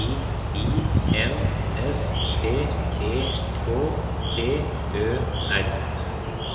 I I N S P E K T Ø R